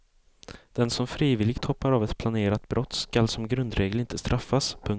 Den som frivilligt hoppar av ett planerat brott ska som grundregel inte straffas. punkt